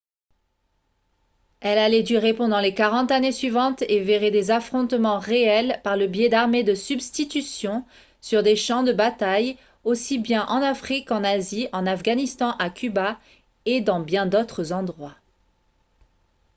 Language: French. elle allait durer pendant les 40 années suivantes et verrait des affrontements réels par le biais d'armées de substitution sur des champs de bataille aussi bien en afrique qu'en asie en afghanistan à cuba et dans bien d'autres endroits